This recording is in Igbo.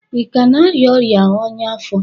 ị ka na-arịa ọrịa ọñya afọ?